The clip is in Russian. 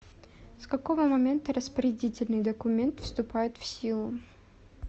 с какого момента распорядительный документ вступает в силу